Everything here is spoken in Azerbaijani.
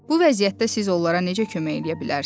Bu vəziyyətdə siz onlara necə kömək eləyə bilərsiz?